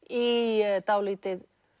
í dálítið